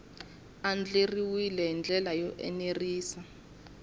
andlariwile hi ndlela yo enerisa